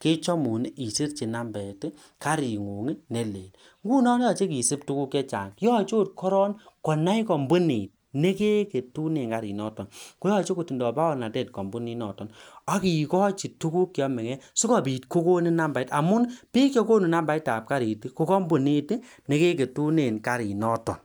kechomun isirchi nambet karingun nelel ngunon yoche kesub tukuk chechang yoche korong konai kambunit nekeketunen kariniton baornatet kambunit noton agikochi tuguk cheomege asigobit kogonin namba bik chegonu nambai tab karit Kobo kambunit negegetune karinoton